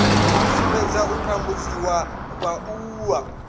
u sumbedza u tambudziwa ha vhaaluwa